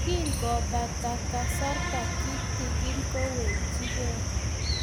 Kingopata Kasarta kitigin kowechikei